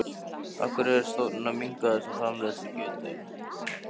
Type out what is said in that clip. Af hverju er stofninn að minnka þessa framleiðslugetu?